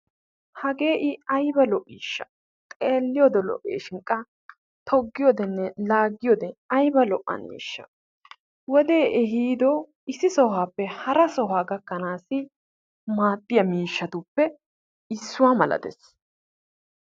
Hagee I ayba lo'iishsha, togiyode lo'iyagee laagiyode ayba la'iisha. wodee ehiido issi sohuwappe hara sohuwa gakkanaasii maadiya miishshatuppe issuwa malatees.